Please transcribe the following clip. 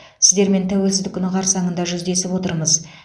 сіздермен тәуелсіздік күні қарсаңында жүздесіп отырмыз